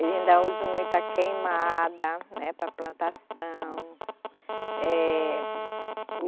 Ainda usam muita queimada, né, para plantação. Eh